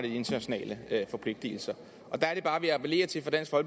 internationale forpligtelser og det